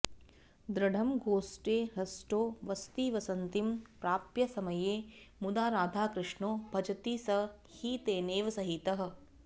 दृढं गोष्ठे हृष्टो वसतिवसतिं प्राप्य समये मुदा राधाकृष्णौ भजति स हि तेनैव सहितः